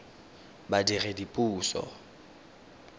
badiredipuso